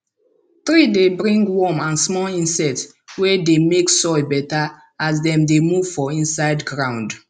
tree dey bring worm and small insect wey dey make soil better as dem dey move for inside ground